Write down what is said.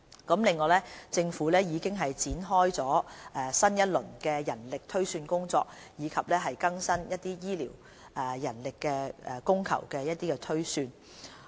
此外，政府已開展新一輪的人力推算工作，以更新醫療人力供求的推算。